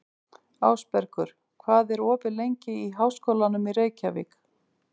Ásbergur, hvað er opið lengi í Háskólanum í Reykjavík?